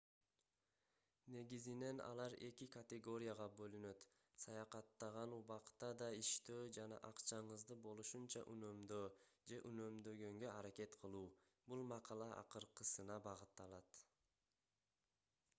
негизинен алар эки категорияга бөлүнөт саякаттаган убакта да иштөө жана акчаңызды болушунча үнөмдөө же үнөмдөгөнгө аракет кылуу бул макала акыркысына багытталат